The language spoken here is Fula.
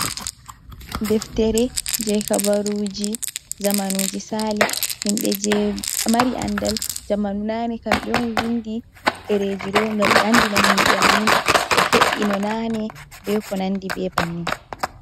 Deftere je habaruji zamanuji sali himbe je mari andal jamanunane kambe on vindi dereji do gam be andina himbe amin ko fe’i no nane be ko nandi be banin.